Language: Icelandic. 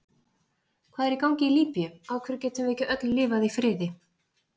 Hvað er í gangi í Líbíu, af hverju getum við ekki öll lifað í friði?